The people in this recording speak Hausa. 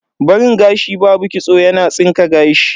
Barin gashi babu kitso yana tsinka gashi.